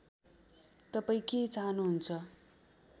तपाईँ के चाहनुहुन्छ